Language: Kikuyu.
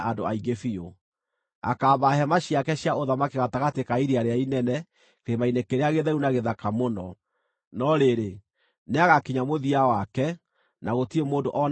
Akaamba hema ciake cia ũthamaki gatagatĩ ka iria rĩrĩa inene kĩrĩma-inĩ kĩrĩa gĩtheru na gĩthaka mũno. No rĩrĩ, nĩagakinya mũthia wake, na gũtirĩ mũndũ o na ũmwe ũkaamũteithia.